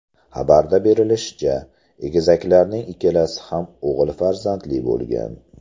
Xabarda bildirilishicha, egizaklarning ikkalasi ham o‘g‘il farzandli bo‘lgan.